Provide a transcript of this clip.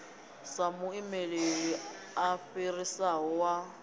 sa muimeli a fhirisaho wa